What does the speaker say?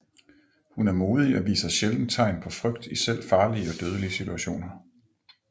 Hun er modig og viser sjældent tegn på frygt i selv farlige og dødelige situationer